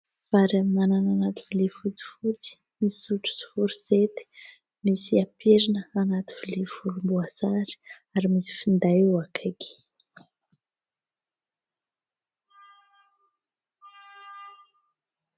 Vary amin'anana anaty lovia fotsifotsy misy sotro sy forosety, misy pirina anaty lovia volomboasary ary misy finday eo akaiky.